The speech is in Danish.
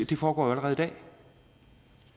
det foregår jo allerede